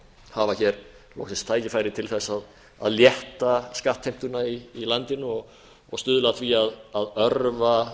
hafa hér loksins tækifæri til þess að létta skattheimtuna í landinu og stuðla að því að örva